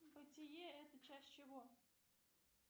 бытие это часть чего